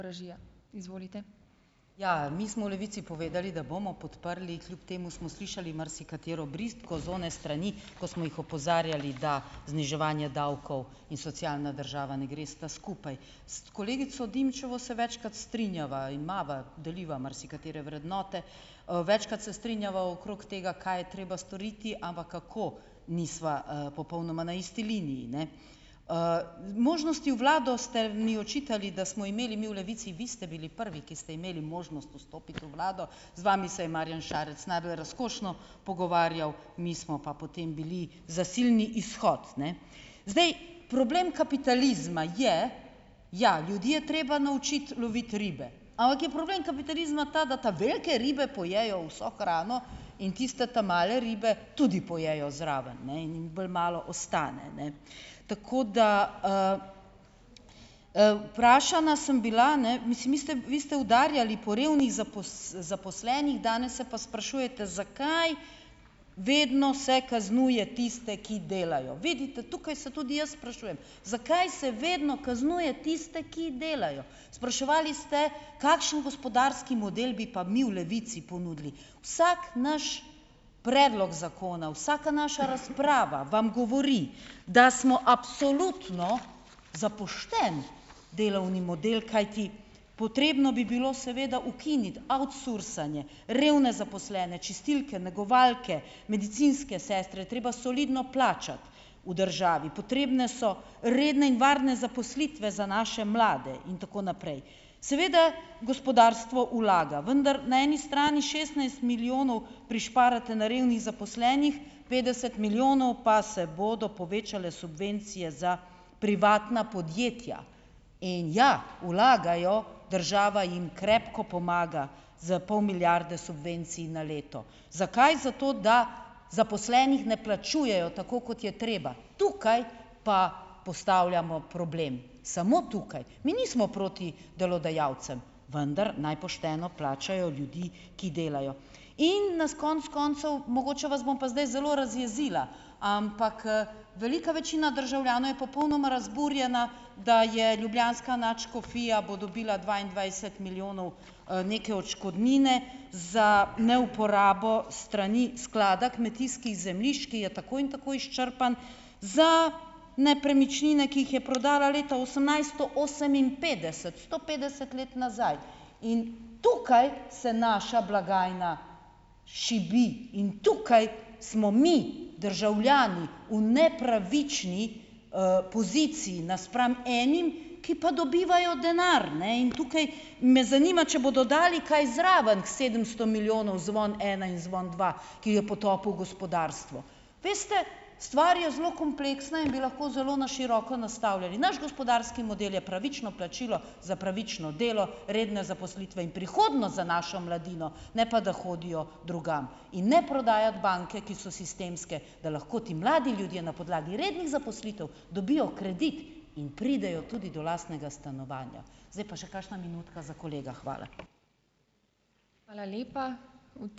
Ja, mi smo v Levici povedali, da bomo podprli, kljub temu smo slišali marsikatero bridko z one strani, ko smo jih opozarjali, da zniževanje davkov in socialna država ne gresta skupaj. S kolegico Dimčevo se večkrat strinjava in imava deliva marsikatere vrednote. Večkrat se strinjava okrog tega, kaj je treba storiti, ampak kako, nisva, popolnoma na isti liniji, ne. Možnosti v vlado, ste mi očitali, da smo imeli mi v Levici. Vi ste bili prvi, ki ste imeli možnost vstopiti v vlado. Z vami se je Marjan Šarec najbolj razkošno pogovarjal, mi smo pa potem bili zasilni izhod, ne. Zdaj, problem kapitalizma je ... Ja, ljudje je treba naučiti loviti ribe, ampak je problem kapitalizma ta, da ta velike ribe pojejo vso hrano in tiste ta male ribe tudi pojejo zraven, ne, in jim bolj malo ostane, ne. Tako da, vprašana sem bila, ne, mislim, mi ste vi ste udarjali po revnih zaposlenih, danes se pa sprašujete, zakaj vedno se kaznuje tiste, ki delajo. Vidite, tukaj so tudi jaz sprašujem, zakaj se vedno kaznuje tiste, ki delajo. Spraševali ste, kakšen gospodarski model bi pa mi v Levici ponudili? Vsak naš predlog zakona, vsaka naša razprava vam govori, da smo absolutno za pošten delovni model, kajti potrebno bi bilo seveda ukiniti outsourcanje, revne zaposlene, čistilke, negovalke, medicinske sestre je treba solidno plačati v državi, potrebne so redne in varne zaposlitve za naše mlade in tako naprej. Seveda, gospodarstvo vlaga, vendar na eni strani šestnajst milijonov prišparate na revnih zaposlenih, petdeset milijonov pa se bodo povečale subvencije za privatna podjetja in ja, vlagajo, država jim krepko pomaga s pol milijarde subvencij na leto. Zakaj? Zato, da zaposlenih ne plačujejo tako, kot je treba. Tukaj pa postavljamo problem, samo tukaj. Mi nismo proti delodajalcem, vendar naj pošteno plačajo ljudi, ki delajo. In nas konec koncev, mogoče vas bom pa zdaj zelo razjezila, ampak, velika večina državljanov je popolnoma razburjena, da je ljubljanska nadškofija, bo dobila dvaindvajset milijonov, neke odškodnine za neuporabo strani sklada kmetijskih zemljišč, ki je tako in tako izčrpan, za nepremičnine, ki jih je prodala leta osemnajststo oseminpetdeset, sto petdeset let nazaj in tukaj se naša blagajna šibi in tukaj smo mi državljani v nepravični, poziciji napram enim, ki pa dobivajo denar, ne, in tukaj me zanima, če bodo dali kaj zraven k sedemsto milijonov, Zvon ena in Zvon dva, ki je potopil gospodarstvo. Veste, stvar je zelo kompleksna in bi lahko zelo na široko nastavljali. Naš gospodarski model je pravično plačilo za pravično delo, redne zaposlitve in prihodnost za našo mladino, ne pa da hodijo drugam, in ne prodajati banke, ki so sistemske, da lahko ti mladi ljudje na podlagi rednih zaposlitev dobijo kredit in pridejo tudi do lastnega stanovanja. Zdaj pa še kakšna minutka za kolega. Hvala.